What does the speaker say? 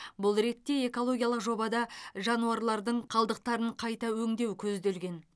бұл ретте экологиялық жобада жануарлардың қалдықтарын қайта өңдеу көзделген